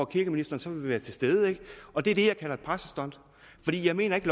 kirkeministeren så vil være til stede og det er det jeg kalder for et pressestunt for jeg mener ikke